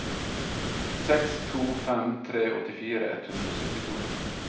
seks to fem tre åttifire ett hundre og syttito